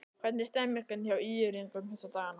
Hvernig er stemningin hjá ÍR-ingum þessa dagana?